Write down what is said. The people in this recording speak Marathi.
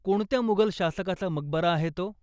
कोणत्या मुगल शासकाचा मकबरा आहे तो?